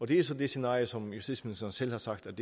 det er så det scenarie som justitsministeren selv har sagt